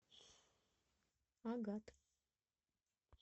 агат